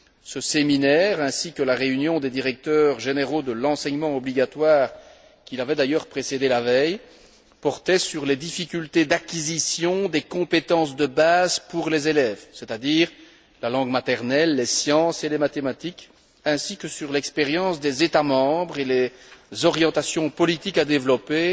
Ce séminaire ainsi que la réunion des directeurs généraux de l'enseignement obligatoire, qui l'avait d'ailleurs précédé la veille, portaient sur les difficultés d'acquisition des compétences de base pour les élèves, c'est à dire la langue maternelle, les sciences et les mathématiques, ainsi que sur l'expérience des États membres et les orientations politiques à développer